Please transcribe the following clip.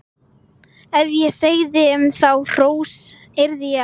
Ef ég segði um þá hrós yrði ég að ljúga.